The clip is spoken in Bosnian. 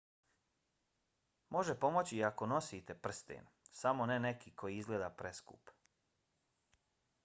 može pomoći i ako nosite prsten samo ne neki koji izgleda preskup